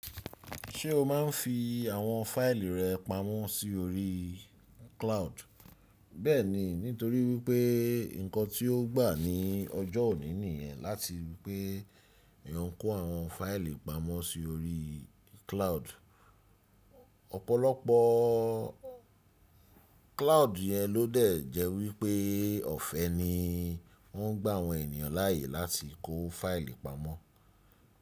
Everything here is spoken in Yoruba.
Ṣé o maa n fi àwọn fáìlì rẹ pamọ́ sí orí cloud? Bẹ́ẹ̀ni, nítorí wípé nkan tí ó gbà ní ọjọ́ òní nìyẹn láti wípé Èèyàn n kó àwọn fáìlì pamọ́ sí orí cloud. Ọ̀pọ̀lọpọ̀ cloud yẹn ló dẹ̀ jẹ́ wípé ọ̀fẹ́ ni wọ́n gba àwọn ènìyàn láàyè láti kó fáìlì pamọ́.